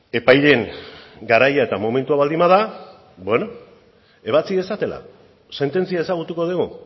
epaileen garaia eta momentua baldin bada beno ebatzi dezatela sententzia ezagutuko dugu